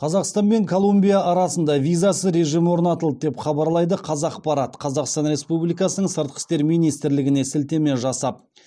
қазақстан мен колумбия арасында визасыз режім орнатылды деп хабарлайды қазақпарат қазақстан республикасының сыртқы істер министрлігіне сілтеме жасап